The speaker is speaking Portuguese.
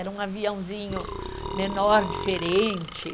Era um aviãozinho menor, diferente.